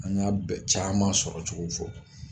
An y'a bɛ caaman sɔrɔ cogow fɔ.